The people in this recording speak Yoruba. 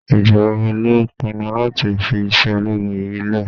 Ìgbà wo lo pinnu láti fi iṣẹ́ ológun yìí lẹ̀?